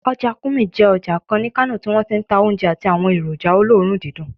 Ọjà Kurmi jẹ́ ọjà kan ní Kano tí wọ́n ti ń ta oúnjẹ àti àwọn èròjà olóòórùn dídùn